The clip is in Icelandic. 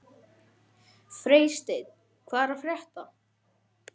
Ætli ég reyni ekki að eignast ísskáp sagði amma.